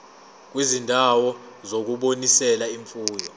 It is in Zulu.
kwizindawo zokunonisela imfuyo